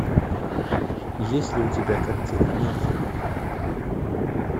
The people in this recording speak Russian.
есть ли у тебя картина мюнхен